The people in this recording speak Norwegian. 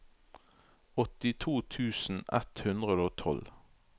åttito tusen ett hundre og tolv